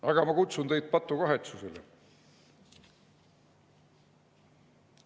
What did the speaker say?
Aga ma kutsun teid patukahetsusele.